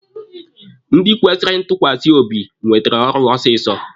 Ndị kwesịrị ntukwasi obi nwetere ọrụ ọsịsọ